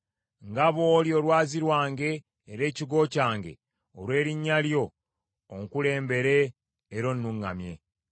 Nga bw’oli olwazi lwange era ekigo kyange; olw’erinnya lyo onkulembebere era onnuŋŋamye.